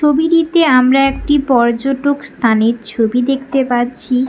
ছবিটিতে আমরা একটি পর্যটক স্থানের ছবি দেখতে পাচ্ছি।